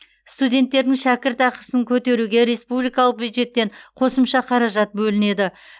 студенттердің шәкіртақысын көтеруге республикалық бюджеттен қосымша қаражат бөлінеді